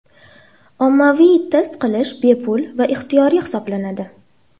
Ommaviy test qilish bepul va ixtiyoriy hisoblanadi.